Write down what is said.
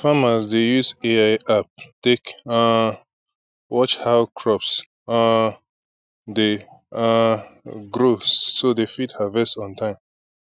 farmers dey use ai app take um watch how crops um dey um grow so dem fit harvest on time